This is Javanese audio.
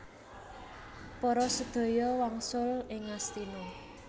Para sadaya wangsul ing Ngastina